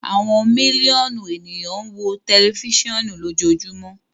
Awọn miliọnu eniyan n wo tẹlifisiọnu lojoojumọ